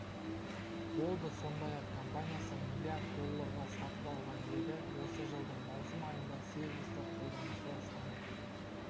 болды сондай-ақ компаниясы млрд долларға сатып алған еді осы жылдың маусым айында сервисті қолданушылар саны